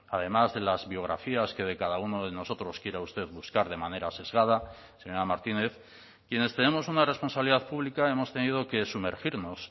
además de las biografías que de cada uno de nosotros quiera usted buscar de manera sesgada señora martínez quienes tenemos una responsabilidad pública hemos tenido que sumergirnos